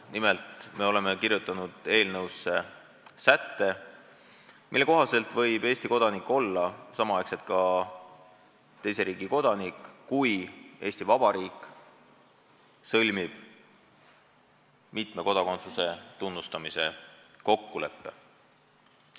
Nimelt, me oleme kirjutanud eelnõusse sätte, mille kohaselt võib Eesti kodanik olla samaaegselt ka teise riigi kodanik, kui Eesti Vabariik on sõlminud selle riigiga mitme kodakondsuse tunnustamise kokkuleppe.